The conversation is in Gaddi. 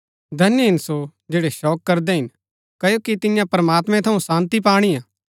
धन्य हिन सो जैड़ै शोक करदै हिन क्ओकि तियां प्रमात्मैं थऊँ शान्ती पाणिआ